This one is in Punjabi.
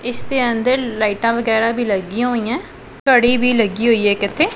ਇੱਸ ਦੇ ਅੰਦਰ ਲਾਈਟਾਂ ਵਗੈਰਾ ਵੀ ਲੱਗਿਆਂ ਹੋਈਆਂ ਹੈਂ ਘੜੀ ਵੀ ਲੱਗੀ ਹੋਈ ਹੈ ਇੱਕ ਇੱਥੇ।